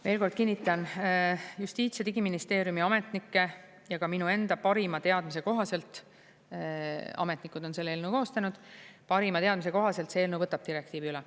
Veel kord kinnitan: Justiits- ja Digiministeeriumi ametnikke ja ka minu enda parima teadmise kohaselt, ametnikud on selle eelnõu koostanud, parima teadmise kohaselt see eelnõu võtab direktiivi üle.